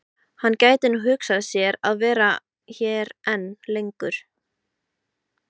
En gæti hún hugsað sér að vera hér enn lengur?